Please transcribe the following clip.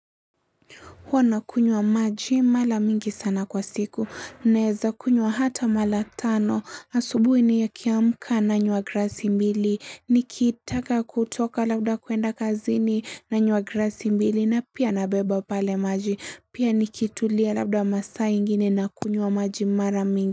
Huwa nakunywa maji mara mingi sana kwa siku. Naeza kunywa hata mara tano. Asubuhi nikiamka nanywa glasi mbili. Nikitaka kutoka labda kuenda kazini nanywa glasi mbili na pia nabeba pale maji. Pia nikitulia labda masaa ingine na kunywa maji mara mingi.